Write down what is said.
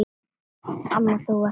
Amma þú varst svo klár.